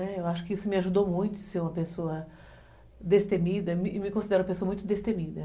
Eu acho que isso me ajudou muito a ser uma pessoa destemida e me considero uma pessoa muito destemida.